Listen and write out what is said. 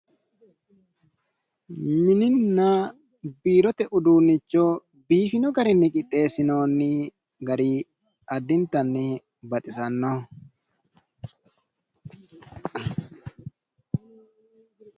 Mininna biirote uduunicho biifino garinni qixeesinooni gari addinitanni baxisanoho